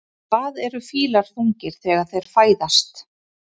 Hvað eru fílar þungir þegar þeir fæðast?